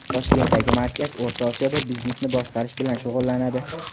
Toshkentdagi markaz O‘rta Osiyoda biznesni boshqarish bilan shug‘ullanadi.